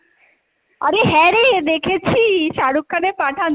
আরে হ্যাঁ রে দেখেছি শাহরুখ খানের পাঠান তুই,